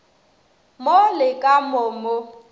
mo le ka mo mo